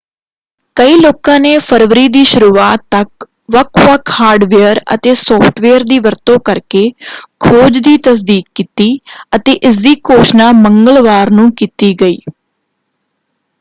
ਕਈ ਲੋਕਾਂ ਨੇ ਫਰਵਰੀ ਦੀ ਸ਼ੁਰੂਆਤ ਤੱਕ ਵੱਖ-ਵੱਖ ਹਾਰਡਵੇਅਰ ਅਤੇ ਸੌਫ਼ਟਵੇਅਰ ਦੀ ਵਰਤੋਂ ਕਰਕੇ ਖੋਜ ਦੀ ਤਸਦੀਕ ਕੀਤੀ ਅਤੇ ਇਸਦੀ ਘੋਸ਼ਣਾ ਮੰਗਲਵਾਰ ਨੂੰ ਕੀਤੀ ਗਈ।